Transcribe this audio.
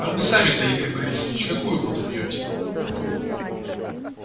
а вы сами-то игорь борисович какую воду пьёте